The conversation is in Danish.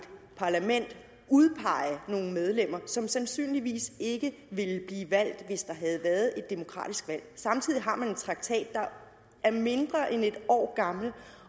parlament udpege nogle medlemmer som sandsynligvis ikke ville blive valgt hvis der havde været et demokratisk valg samtidig har man en traktat der er mindre end et år gammel